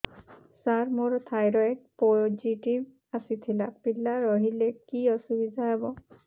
ସାର ମୋର thyroid positive ଆସିଥିଲା ପିଲା ରହିଲେ କି ଅସୁବିଧା ହେବ